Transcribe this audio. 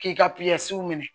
K'i ka minɛ